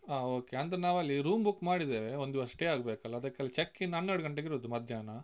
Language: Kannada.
ಹ okay ಅಂದ್ರೆ ನಾವಲ್ಲಿ room book ಮಾಡಿದ್ದೇವೆ, ಒಂದು ದಿವಸ stay ಆಗ್ಬೇಕಲ್ಲಾ, ಅದಕ್ಕೆ ಅಲ್ಲಿ checking ಹನ್ನೆರಡು ಗಂಟೆಗೆ ಇರುದು ಮಧ್ಯಾಹ್ನ.